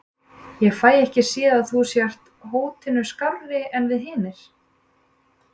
Ég fæ ekki séð að þú sért hótinu skárri en við hinir.